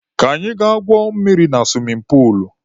Ka anyị ga gwuo mmiri na suwimin puulu.